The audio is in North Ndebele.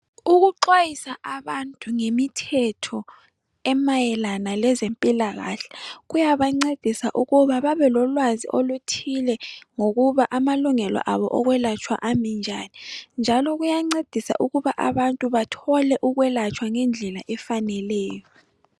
Ukuxhwayisa abantu ngemithetho emayelana lezempilakahle kuyabancedisa ukuba babe lolwazi oluthile. Ngokuba amalungelo abo okwelatshwa Ami njani ,njalo kuyancedisa ukuba Abantu bathole ukwelatshwa ngendlela efaneleyo.